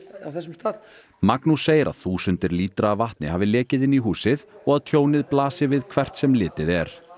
á þessum stað Magnús segir að þúsundir lítra af vatni hafi lekið inn í húsið og að tjónið blasi við hvert sem litið er